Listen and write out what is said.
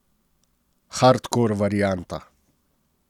Hardkor varianta.